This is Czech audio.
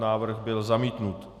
Návrh byl zamítnut.